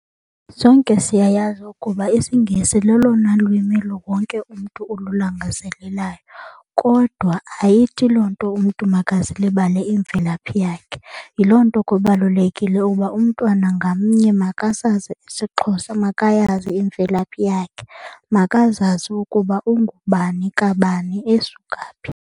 Sonke siyayazi ukuba isiNgesi lolona lwimi wonke umntu ululangazelelayo kodwa ayithi loo nto umntu makazilibale imvelaphi yakhe. Yiloo nto kubalulekile uba umntwana ngamnye makasazi isiXhosa, makayazi imvelaphi yakhe, makazazi ukuba ungubani kabani esuka phi.